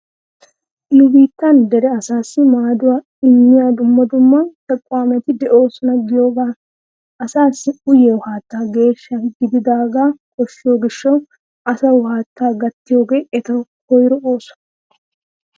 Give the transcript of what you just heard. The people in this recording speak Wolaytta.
Nu biittan dere asaassi maaduwa immiya dumma dumma 'tequwaameti' de'oosona giyogaa. Asaassi uyiyo haatta geeshsha gididaagaa koshshiyo gishshawu asawu haattaa gattiyogee etawu koyro ooso.